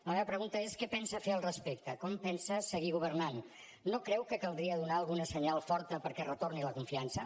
la meva pregunta és què pensa fer al respecte com pensa seguir governant no creu que caldria donar algun senyal fort perquè retorni la confiança